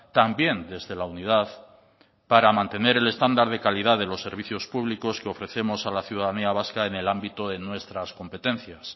también desde la unidad para mantener en estándar de calidad de los servicios públicos que ofrecemos a la ciudadanía vasca en el ámbito de nuestras competencias